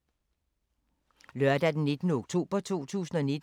Lørdag d. 19. oktober 2019